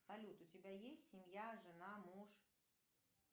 салют у тебя есть семья жена муж